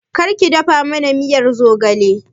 Kar ki dafa mana miyar zogale!